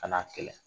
Ka n'a kɛlɛ